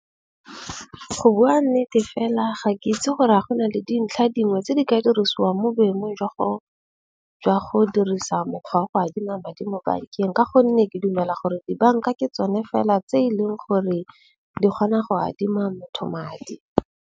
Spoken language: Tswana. Go bua nnete fela ga ke itse gore ga go na le dintlha dingwe tse di ka dirisiwang mo boemong jwa go dirisa mokgwa wa go adima madi mo bankeng. Ka gonne ke dumela gore dibanka ke tsone fela tse eleng gore di kgona go adima motho madi.